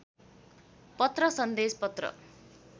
पत्र सन्देश पत्र